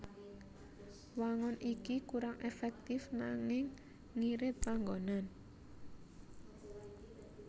Wangun iki kurang èfèktif nanging ngirit panggonan